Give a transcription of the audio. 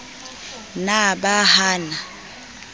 na ba ha a na